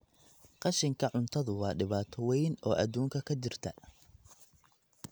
Qashinka cuntadu waa dhibaato weyn oo adduunka ka jirta.